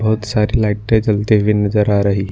उत सारे लाइटे जलते हुए नजर आ रही--